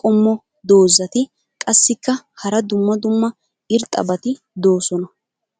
qommo dozzati qassikka hara dumma dumma irxxabati doosona.